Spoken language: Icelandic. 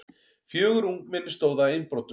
Fjögur ungmenni stóðu að innbrotum